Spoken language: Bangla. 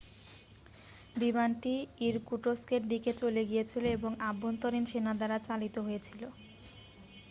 বিমানটি ইরকুটস্কের দিকে চলে গিয়েছিল এবং আভ্যন্তরীণ সেনা দ্বারা চালিত হয়েছিল